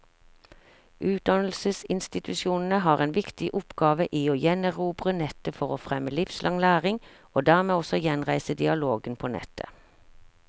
Utdannelsesinstitusjonene har en viktig oppgave i å gjenerobre nettet for å fremme livslang læring, og dermed også gjenreise dialogen på nettet.